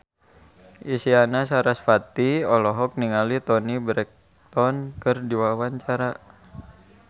Isyana Sarasvati olohok ningali Toni Brexton keur diwawancara